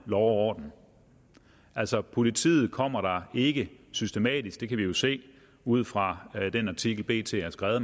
orden altså politiet kommer der ikke systematisk det kan vi jo se ud fra den artikel bt har skrevet